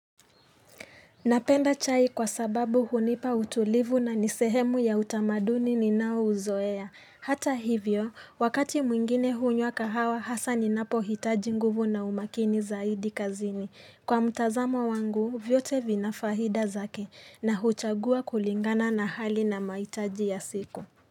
Napenda chai kwa sababu hunipa utulivu na nisehemu ya utamaduni ninaouzoea. Hata hivyo, wakati mwingine hunywa kahawa hasa ninapohitaji nguvu na umakini zaidi kazini. Kwa mtazamo wangu, vyote vina faida zake na huchagua kulingana na hali na mahitaji ya siku.